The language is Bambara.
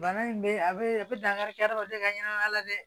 Bana in bɛ a bɛ a bɛ dankari kɛ adamaden ka ɲɛnamaya la dɛ